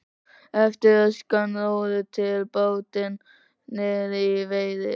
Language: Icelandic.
Eftir röskan róður tók bátinn niðri í Viðey.